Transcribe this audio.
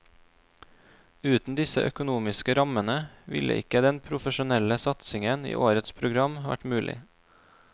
Uten disse økonomiske rammene ville ikke den profesjonelle satsingen i årets program vært mulig.